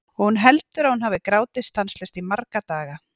Og hún heldur að hún hafi grátið stanslaust í marga daga.